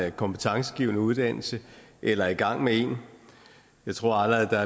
en kompetencegivende uddannelse eller er i gang med en jeg tror at der